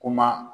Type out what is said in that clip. Kuma